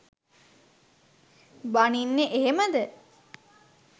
බනින්නෙ එහෙමද?